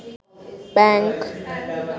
bank